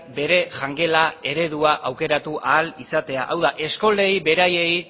bere jangela eredua aukeratu ahal izatea hau da eskolei beraiei